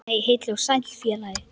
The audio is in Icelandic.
Nei, heill og sæll félagi!